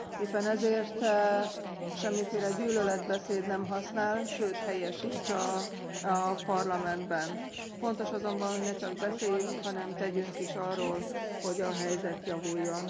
Éppen ezért semmiféle gyűlöletbeszéd nem használ, sőt, helye sincs a Parlamentben. Fontos azonban, hogy ne csak beszéljünk, hanem tegyünk is arról, hogy a helyzet javuljon.